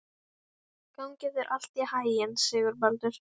Eitt lítið dæmi um mannlega og pólitíska sambúð.